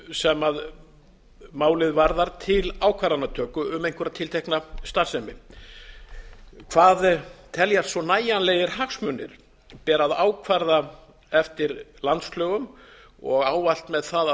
sem málið varðar til ákvarðanatöku um einhverja tiltekna starfsemi hvað teljast svo nægjanlegir hagsmunir ber að ákvarða eftir landslögum og ávallt með það að